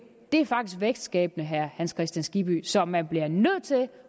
det er faktisk vækstskabende herre hans kristian skibby så man bliver nødt til